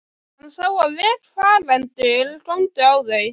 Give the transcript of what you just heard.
Hann sá að vegfarendur góndu á þau.